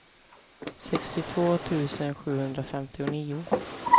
sextiotvå tusen sjuhundrafemtionio